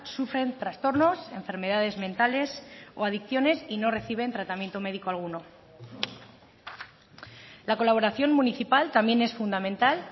sufren trastornos enfermedades mentales o adicciones y no reciben tratamiento médico alguno la colaboración municipal también es fundamental